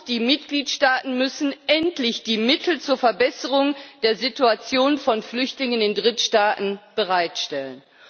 Die Mitgliedstaaten müssen endlich die Mittel zur Verbesserung der Situation von Flüchtlingen in Drittstaaten bereitstellen.